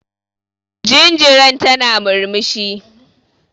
Jinjiran tana murmushi.